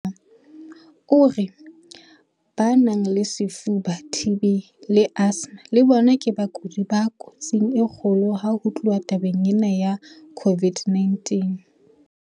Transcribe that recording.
O re ba nang le lefuba, TB, le asthma le bona ke bakudi ba kotsing e kgolo ha ho tluwa tabeng ya COVID-19.